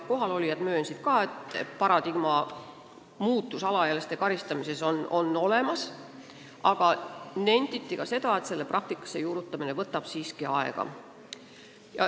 Kohalolijad möönsid, et paradigma muutus alaealiste karistamises on olemas, aga nenditi ka seda, et selle praktikas juurutamine võtab siiski aega.